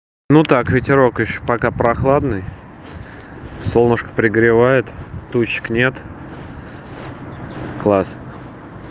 ну так ветерок ещё пока прохладный солнышко пригревает тучек нет класс